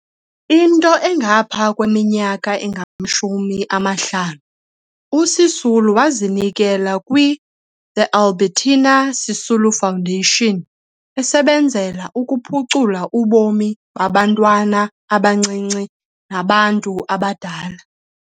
Into engapha kweminyaka engamashumi-amahlanu, 50, uSisulu wazinikela kwi-The Albertina Sisulu Foundation, esebenzela ukuphucula ubomi babantwana abancinci nabantu abadala.